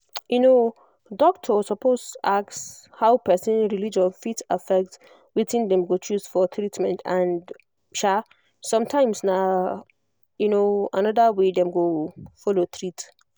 um doctor suppose ask how person religion fit affect wetin dem go choose for treatment and um sometimes na um another way dem go follow treat